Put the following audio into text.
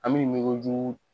An bɛ ɲinikojugu